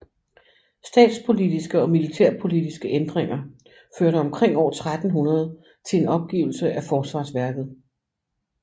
Statspolitiske og militærpolitiske ændringer førte omkring år 1300 til en opgivelse af forsvarsværket